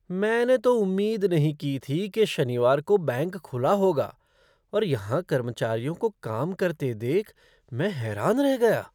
मैंने तो उम्मीद नहीं की थी शनिवार को बैंक खुला होगा और यहाँ कर्मचारियों को काम करते देख मैं हैरान रह गया।